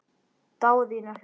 Daðína hló.